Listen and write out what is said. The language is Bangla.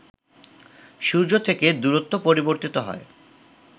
সূর্য থেকে দূরত্ব পরিবর্তিত হয়